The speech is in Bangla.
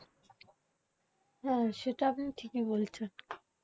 হ্যাঁ, সেটা আপনি ঠিকই বলেছেন।